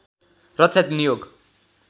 रक्षा नियोग